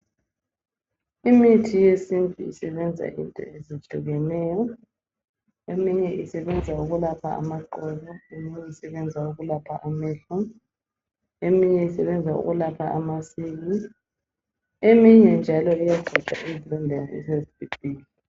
Imithi yesintu isebenza into ezehlukeneyo, eminye isebenza ukulapha amaqolo, eminye isebenza ukulapha amehlo eminye isebenza ukulapha amasili, eminye njalo iyaqeda izilonda esezibhibhidla.